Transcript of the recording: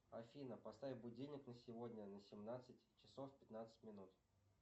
афина поставь будильник на сегодня на семнадцать часов пятнадцать минут